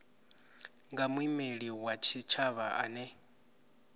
nga muimeli wa tshitshavha ane